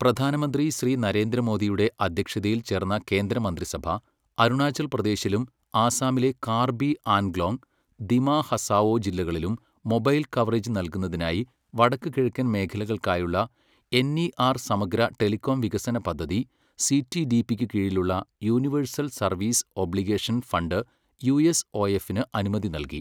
പ്രധാനമന്ത്രി ശ്രീ നരേന്ദ്ര മോദിയുടെ അധ്യക്ഷതയിൽ ചേർന്ന കേന്ദ്രമന്ത്രിസഭ, അരുണാചൽ പ്രദേശിലും ആസാമിലെ കാർബി ആൻഗ്ലോങ്, ദിമാ ഹസാഓ ജില്ലകളിലും മൊബൈൽ കവറേജ് നല്കുന്നതിനായി വടക്ക് കിഴക്കൻ മേഖലകൾക്കായുള്ള എൻ ഇ ആർ സമഗ്ര ടെലികോം വികസന പദ്ധതി സിടിഡിപി ക്കു കീഴിലുള്ള യൂണിവേഴ്സൽ സർവീസ് ഒബ്ലിഗേഷൻ ഫണ്ട് യുഎസ്ഒഎഫിന് അനുമതി നല്കി.